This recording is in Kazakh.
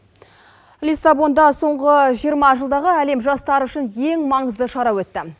лиссабонда соңғы жиырма жылдағы әлем жастары үшін ең маңызды шара өтті